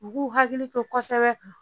U k'u hakili to kosɛbɛ